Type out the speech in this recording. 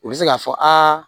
U bɛ se k'a fɔ aa